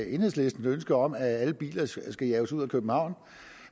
enhedslistens ønske om at alle biler skal skal jages ud